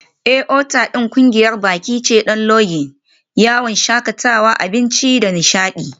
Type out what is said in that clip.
Otal ɗin ƙungiyar baƙi ce don Lodging, yawon shakatawa, abinci da nishaɗi.